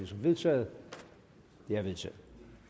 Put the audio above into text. som vedtaget det er vedtaget